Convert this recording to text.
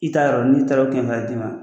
I t'a yɔrɔ don, n'i taara o kɛmɛ fila di la.